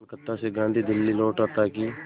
कलकत्ता से गांधी दिल्ली लौटे ताकि